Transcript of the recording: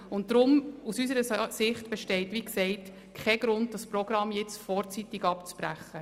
Und darum besteht aus unserer Sicht, wie gesagt, kein Grund, das Programm vorzeitig abzubrechen.